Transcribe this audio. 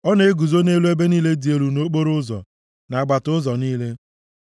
Ọ na-eguzo nʼelu ebe niile dị elu nʼokporoụzọ, nʼagbata ụzọ niile.